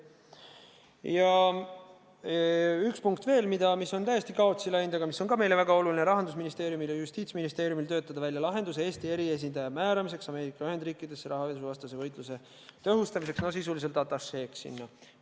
Ja üks punkt veel, mis on täiesti kaotsi läinud, aga mis on ka meile väga oluline: Rahandusministeeriumil ja Justiitsministeeriumil töötada välja lahendus Eesti eriesindaja määramiseks Ameerika Ühendriikidesse rahapesuvastase võitluse tõhustamiseks, no sisuliselt atašeeks sinna.